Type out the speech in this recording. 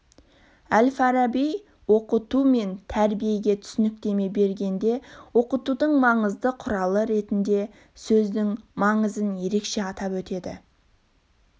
әл-фараби оқыту мен тәрбиеге түсініктеме бергенде оқытудың маңызды құралы ретінде сөздің маңызын ерекше атап өтеді